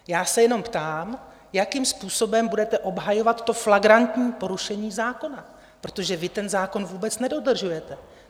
Já se jenom ptám, jakým způsobem budete obhajovat to flagrantní porušení zákona, protože vy ten zákon vůbec nedodržujete.